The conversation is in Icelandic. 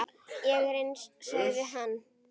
Ég er eins, sagði hann.